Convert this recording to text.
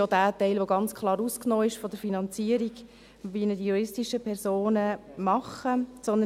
Dieser Teil ist ganz klar von der Finanzierung durch die juristischen Personen ausgeklammert.